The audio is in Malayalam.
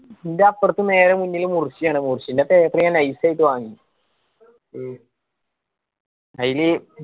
ന്റെ അപ്പർത്ത് നേരെ മുന്നില് മുർഷി ആണ് മുർശിന്റെ paper ഞാന് nice ആയിട്ട് വാങ്ങി. അയില്